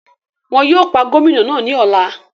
Wọn yóò pa Gómìnà náà ní ọ̀la